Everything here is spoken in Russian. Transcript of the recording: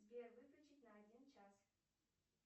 сбер выключить на один час